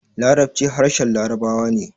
Larabci harshen labarawa ne